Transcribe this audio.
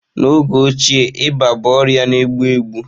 N'oge ochie ịba bụ ọrịa na-egbu egbu